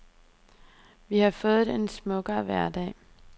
Vi har fået en smukkere hverdag.